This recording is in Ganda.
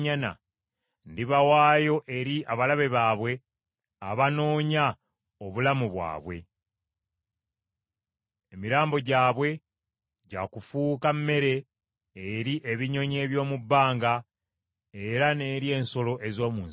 ndibawaayo eri abalabe baabwe abanoonya obulamu bwabwe. Emirambo gyabwe gya kufuuka mmere eri ebinyonyi eby’omu bbanga era n’eri ensolo ez’omu nsiko.